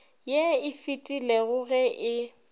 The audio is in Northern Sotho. ye e fetilego ge e